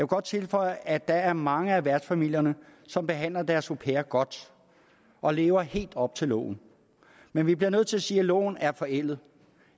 godt tilføje at der er mange af værtsfamilierne som behandler deres au pair godt og lever helt op til loven men vi bliver nødt til at sige at loven er forældet